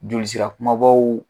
Joli sira kumabaw